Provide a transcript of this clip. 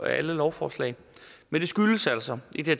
alle lovforslag men det skyldes altså i det